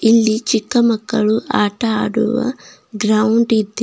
ಇಲ್ಲಿ ಚಿಕ್ಕಮಕ್ಕಳು ಆಟ ಆಡುವ ಗ್ರೌಂಡ್ ಇದೆ.